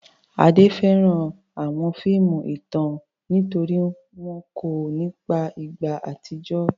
Ade fẹ́ràn àwọn fíìmù ìtàn nítorí wọ́n kọ́ ọ nípa ìgbà àtijọ́.